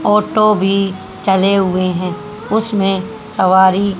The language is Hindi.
भी चले हुए हैं उसमें सवारी